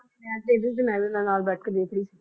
ਮੈਂ ਤੇ ਇਹ ਵੀ ਮੇਲਿਨਾ ਨਾਲ ਬੈਠ ਕੇ ਦੇਖ ਰਹੀ ਸੀ